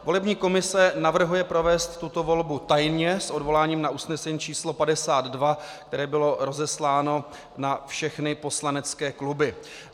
Volební komise navrhuje provést tuto volbu tajně s odvoláním na usnesení číslo 52, které bylo rozesláno na všechny poslanecké kluby.